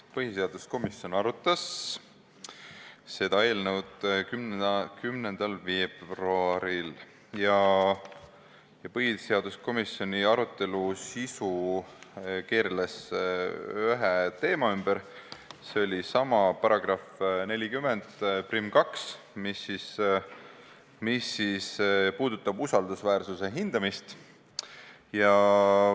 Põhiseaduskomisjon arutas seda eelnõu 10. veebruaril ja arutelu sisu keerles ühe teema ümber, see oli § 402, mis puudutab usaldusväärsuse hindamist.